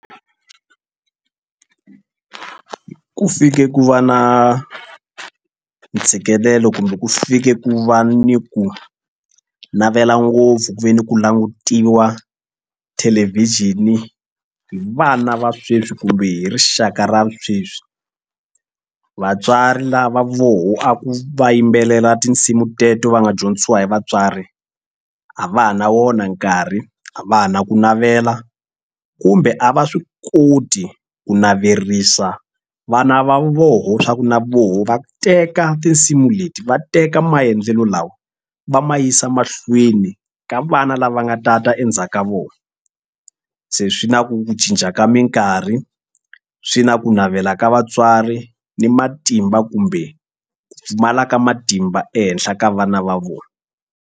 Ku fike ku va na ntshikelelo kumbe ku fike ku va ni ku navela ngopfu ku ve ni ku langutiwa thelevhixini hi vana va sweswi kumbe hi rixaka ra sweswi. Vatswari lava voho a ku va yimbelela tinsimu teto va nga dyondzisiwa hi vatswari a va ha na wona nkarhi a va ha na ku navela kumbe a va swi koti ku naverisa vana va voho swa ku na voho va teka tinsimu leti va teka maendlelo lawa va ma yisa mahlweni ka vana lava nga ta ta endzhaku ka vona se swi na ku cinca ka mikarhi swi na ku navela ka vatswari ni matimba kumbe ku pfumala ka matimba ehenhla ka vana va vona.